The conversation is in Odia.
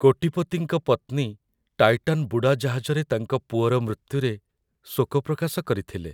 କୋଟିପତିଙ୍କ ପତ୍ନୀ ଟାଇଟାନ୍ ବୁଡ଼ାଜାହାଜରେ ତାଙ୍କ ପୁଅର ମୃତ୍ୟୁରେ ଶୋକ ପ୍ରକାଶ କରିଥିଲେ।